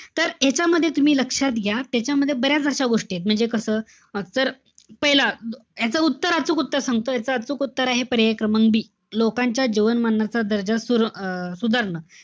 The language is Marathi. तर ह्यांच्यामध्ये तुम्ही लक्षात घ्या. त्याच्यामध्ये बऱ्याच अशा गोष्टी एत. म्हणजे कसं? तर, पहिला, याच उत्तर, अचूक उत्तर सांगतो. याच अचूक उत्तर आहे, क्रमांक B लोकांच्या जीवनमानाचा दर्जा सु~ अं सुधारणं.